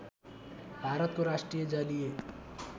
भारतको राष्ट्रिय जलीय